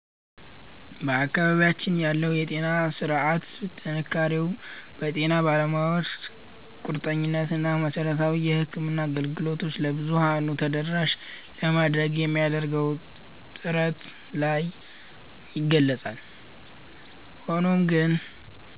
በአካባቢያችን ያለው የጤና ሥርዓት ጥንካሬው በጤና ባለሙያዎቹ ቁርጠኝነት እና መሠረታዊ የሕክምና አገልግሎቶችን ለብዙኃኑ ተደራሽ ለማድረግ በሚደረገው ጥረት ላይ ይገለጻል። ሆኖም ግን፣